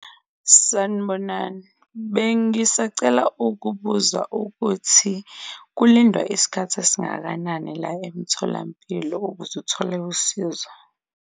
Sanibonani, bengisacela ukubuza ukuthi kulindwa isikhathi esingakanani la emtholampilo ukuze uthole usizo.